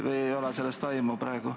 Või ei ole sellest praegu aimu?